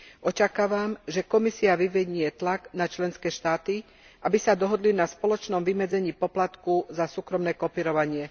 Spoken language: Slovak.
Očakávam, že Komisia vyvinie tlak na členské štáty, aby sa dohodli na spoločnom vymedzení poplatku za súkromné kopírovanie.